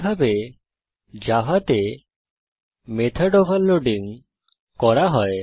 এইভাবে জাভাতে method overloading করা হয়